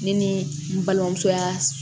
Ne ni n balimamuso ya